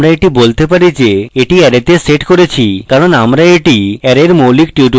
আমরা এটি বলতে পারি যে এটি array তে set করেছি কারণ আমরা এটি array we মৌলিক tutorial শিখেছি